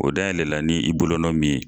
O dayɛlɛ la ni i bolonɔ min ye.